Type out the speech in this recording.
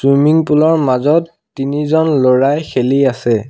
Swimming pool ৰ মাজত তিনিজন ল'ৰাই খেলি আছে।